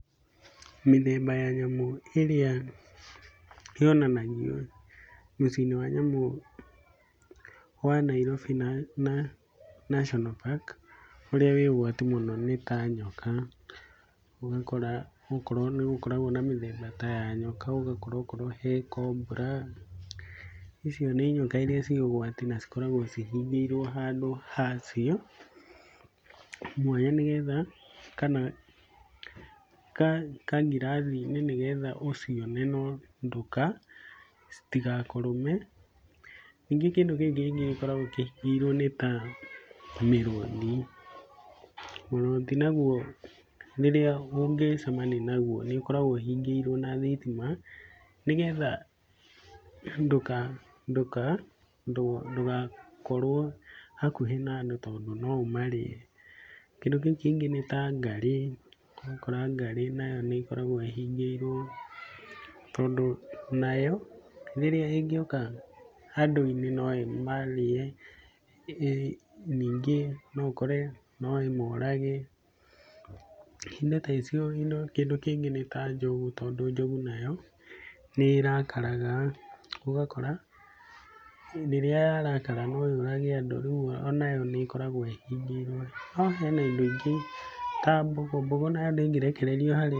Mĩthemba ya nyamũ ĩrĩa yonanagio mũciĩ-inĩ wa nyamũ wa Nairobi National Park, ũrĩa ũrĩ ũgwati mũno nĩ ta nyoka, ũgakora gũkũ nĩgũkoragwo mĩthamba tayanyoka. Ũgakora okorwo hekombra, icio nĩ nyoka iria irĩ ũgwati, na cikoragwo cihingĩirwo handũ hacio, mwanya nĩgetha, kana kangirathiinĩ nĩgetha ũciona, nondũka, citigakũrũme. Ningĩ kĩndũ kĩu kĩngĩ gĩkoragwo kĩhingĩirwo nĩ tamĩrũthi, mũrũthi naguo nĩ rĩrĩa mũngĩcemania naguo, nĩ ũkoragwo ũhingĩirwo na thitima, nĩgetha ndũka ndũka ndũkakorwo hakuhĩ nandũ tondũ no ũmarĩe. Kĩndũ kĩu kĩngĩ nĩ tangarĩ, ũgakora ngarĩ nayo nĩ ĩkoragwo ĩhingĩirwo, tondũ nayo, rĩrĩa ĩngĩũka andũ-inĩ, no ĩmarĩe, ningĩ noũkore, noĩmorage, indo taicio. Kĩndũ kĩngĩ nĩ ta njogu, tondũ njogu nayo, nĩ ĩrakaraga, ũgakora rĩrĩa yarakara noyũrage andũ, rĩu onayo nĩ ĩkoragwo ĩhingĩirwo. Haha hena indo ingĩ, ta mbogo, mbogo nayo ndĩngĩrekererio harĩ-